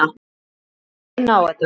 Við látum reyna á þetta.